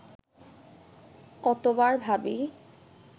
কতবার ভাবি